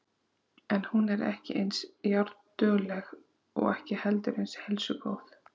En hún er ekki eins járndugleg og ekki heldur eins heilsugóð.